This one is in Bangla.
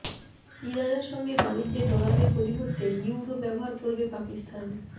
ইরানের সঙ্গে বাণিজ্যে ডলারের পরিবর্তে ইউরো ব্যবহার করবে পাকিস্তান